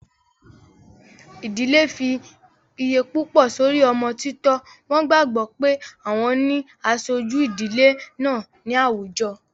Ìdilé fi iye púpọ̀ sórí ọmọ títọ́, wọ́n gbàgbọ́ pé àwọn ni aṣojú ìdílé náà ní àwùjọ